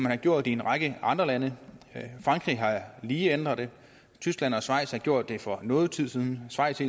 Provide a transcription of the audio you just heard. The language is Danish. har gjort i en række andre lande frankrig har lige ændret det tyskland og schweiz har gjort det for noget tid siden schweiz